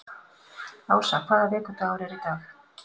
Ása, hvaða vikudagur er í dag?